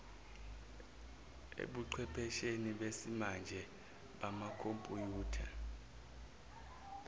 ebuchephesheni besimanje bamakhompuyutha